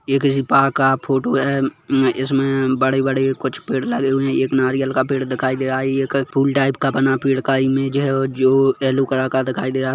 ये किसी पार्क का फोटो है इसमे बड़े बड़े कुछ पेड़ लगे हुए है एक नारियल का पेड़ दिखाई दे रहा है एक पूल टाइप का बना पेड़ का इमेज़ है जो येलो कलर का दिखाई दे रहा--